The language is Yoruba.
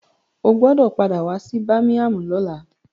O gbọdọ̀ padà wá sí bámíámù lọ́la.